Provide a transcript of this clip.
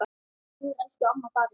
Nú er elsku amma farin.